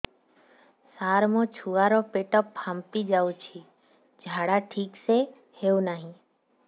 ସାର ମୋ ଛୁଆ ର ପେଟ ଫାମ୍ପି ଯାଉଛି ଝାଡା ଠିକ ସେ ହେଉନାହିଁ